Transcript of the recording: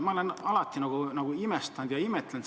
Ma olen alati seda tööd imetlenud –